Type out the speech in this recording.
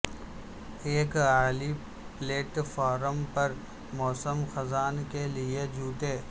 ایک اعلی platform پر موسم خزاں کے لئے جوتے